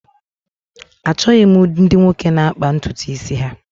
Achọghị m ndị nwoke na-akpà ntutu isi ha